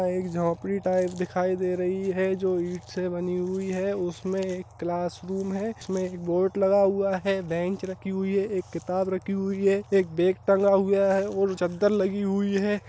एक झोपड़ी टाइप दिखाई दे रही है जो ईट से बनी हुई है। उसमें एक क्लास रूम है। इसमें एक बोर्ड लगा हुआ है। बेंच रखी हुई है एक किताब रखी हुई है एक बैग टंगा हुआ है और चादर लगी हुई है।